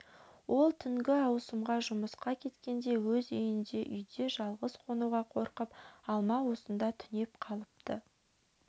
ол түнгі ауысымға жұмысқа кеткенде өз үйінде үйде жалғыз қонуға қорқып алма осында түнеп қалыпты